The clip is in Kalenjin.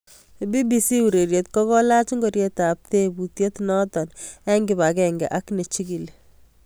BBC ureriet kokolach ngoriet ab teputiet noto eng kibagenge ak nechigili